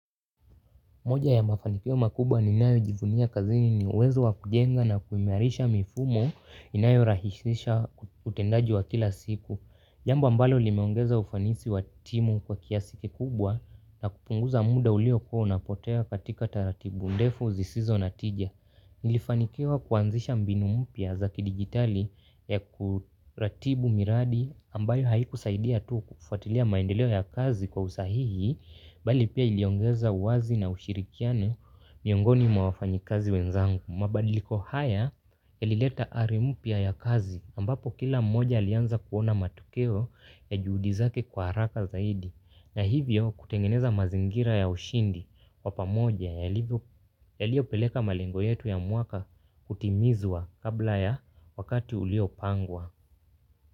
Moja ya mafanikio makubwa ninayojivunia kazini ni uwezo wa kujenga na kuimarisha mifumo inayorahisisha utendaji wa kila siku. Jambo mbalo limeongeza ufanisi wa timu kwa kiasi kikubwa na kupunguza muda uliokua unapotea katika taratibu ndefu zisizo na tija. Nilifanikio kuanzisha mbinu mpya za kidijitali ya kuratibu miradi ambayo haikusaidia tu kufuatilia maendeleo ya kazi kwa usahihi bali pia iliongeza uwazi na ushirikiano miongoni mwa wafanyikazi wenzangu. Mabadiliko haya yalileta hali mpya ya kazi ambapo kila mmoja alianza kuona matokeo ya juhudi zake kwa haraka zaidi na hivyo kutengeneza mazingira ya ushindi wa pamoja yaliopeleka malengo yetu ya mwaka kutimizwa kabla ya wakati uliopangwa.